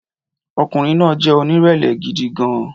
Ọkùnrin náà jẹ́ onírẹ̀lẹ̀ gidi gan-an